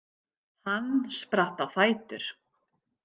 Hann spratt á fætur.